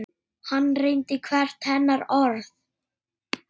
Hann reyndi hvert hennar orð.